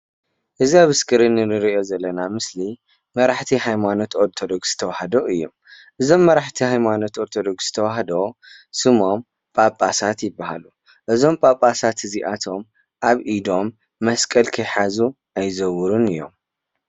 እዚ ኣብ እስክሪን እንሪኦ ዘለና ምስሊ መራሕቲ ሃይማኖት ኦርተዶክስ ተዋህዶ እዮም፡፡ እዞም መራሕቲ ሃይማኖት ኦርተዶክስ ተዋህዶ ስሞም ጳጰሳት ይባሃሉ፡፡ እዞም ጳጳሳት እዚኣቶም ኣብ ኢዶም መስቀል ከይሓዙ ኣይዘውሩን እዮም፡፡